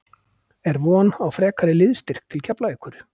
Er von á frekari liðsstyrk til Keflavíkur?